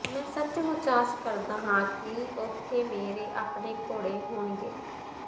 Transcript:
ਮੈਂ ਸੱਚਮੁਚ ਆਸ ਕਰਦਾ ਹਾਂ ਕਿ ਉਥੇ ਮੇਰੇ ਆਪਣੇ ਘੋੜੇ ਹੋਣਗੇ